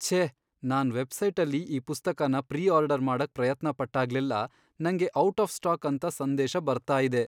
ಛೇ! ನಾನ್ ವೆಬ್ಸೈಟಲ್ಲಿ ಈ ಪುಸ್ತಕನ ಪ್ರೀ ಆರ್ಡರ್ ಮಾಡಕ್ ಪ್ರಯತ್ನ ಪಟ್ಟಾಗ್ಲೆಲ್ಲ, ನಂಗೆ ಔಟ್ ಆಫ್ ಸ್ಟಾಕ್ ಅಂತ ಸಂದೇಶ ಬರ್ತಾ ಇದೆ.